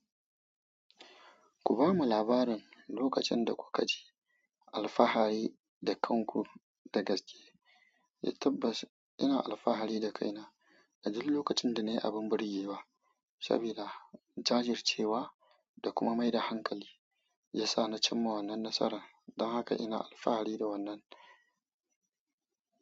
Ku ba mu labarin lokacin da ku ka ji alfahari da kanku da gaske. Eh tabbass ina alfahari da kaina, a duk lokacin da na yi abin burge wa, sabida jajircewa da kuma mai da hankali ya sa na cimma wannan nasaran. Don haka ina alfahari da wannan.